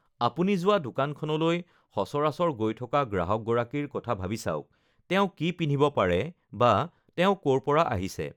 আপুনি যোৱা দোকানখনলৈ সচৰাচৰ গৈ থকা গ্ৰাহকগৰাকীৰ কথা ভাবি চাওক -- তেওঁ কি পিন্ধিব পাৰে বা তেওঁ ক'ৰ পৰা আহিছে?